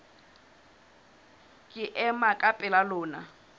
ke ema ka pela lona